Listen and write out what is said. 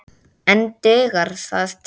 En dugar það til?